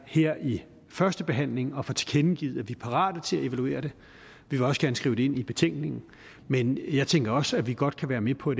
her i førstebehandlingen får tilkendegivet at vi er parate til at evaluere det vi vil også gerne skrive det ind i betænkningen men jeg tænker også at vi godt kan være med på